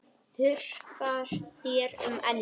Þurrkar þér um ennið.